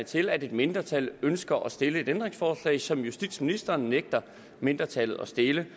til at et mindretal ønsker at stille et ændringsforslag som justitsministeren nægter mindretallet at stille